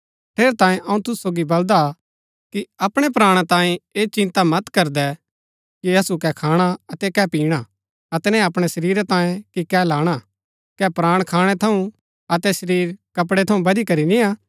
ठेरैतांये अऊँ तुसु सोगी बलदा कि अपणै प्राणा तांयें ऐह चिन्ता मत करदै कि असु कै खाणा अतै कै पिणा अतै न अपणै शरीरा तांयें कि कै लाणा कै प्राण खाणै थऊँ अतै शरीर कपड़ै थऊँ बदिकरी निय्आ